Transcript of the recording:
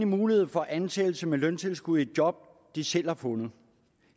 mulighed for ansættelse med løntilskud i job de selv har fundet